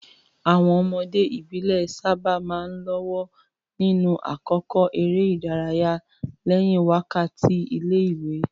Àwọn ọmọdé ìbílẹ̀ sábà máa ń lọ́wọ́ nínú àkókò eré ìdárayá lẹ́yìn wákàtí ilé-ìwé.